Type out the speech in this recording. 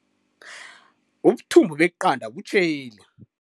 Ubuthumbu beqanda butjheli.